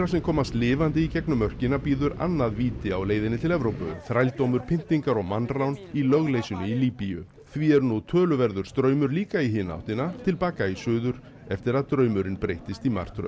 sem komast lifandi í gegnum mörkina bíður annað víti á leiðinni til Evrópu þrældómur pyntingar og mannrán í lögleysunni í Líbíu því er nú töluverður straumur líka í hina áttina til baka í suður eftir að draumurinn breyttist í martröð